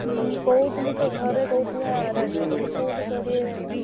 ହୁଁ କହୁଥିଲେ ତ ଘରେ କହୁଥିଲେ ଆରୋଡି ରେ ବୋଲି କୋଉଠି କରିବେ କେଜାଣି?